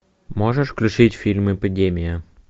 можешь включить фильм эпидемия